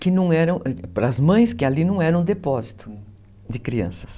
Que não era, para as mães, que ali não era um depósito de crianças.